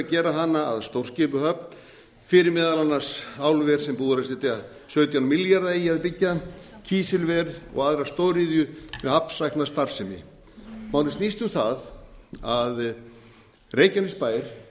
hana að stórskipahöfn fyrir meðal annars álver sem búið er að setja sautján milljarða í að byggja kísilver og aðra stóriðju með hafnsækna starfsemi málið snýst um það að reykjanesbær